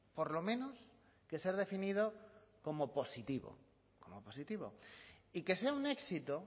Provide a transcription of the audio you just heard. por lo menos que ser definido como positivo como positivo y que sea un éxito